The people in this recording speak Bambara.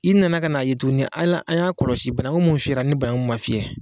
I nana ka n'a ye tuguni ala an y'a kɔlɔsi banaku mun fiyɛra ni banaku mun ma fiyɛ.